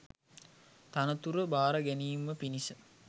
තනතුර භාර ගැනීම පිණිස